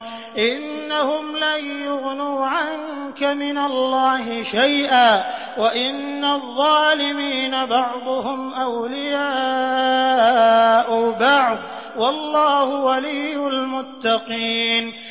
إِنَّهُمْ لَن يُغْنُوا عَنكَ مِنَ اللَّهِ شَيْئًا ۚ وَإِنَّ الظَّالِمِينَ بَعْضُهُمْ أَوْلِيَاءُ بَعْضٍ ۖ وَاللَّهُ وَلِيُّ الْمُتَّقِينَ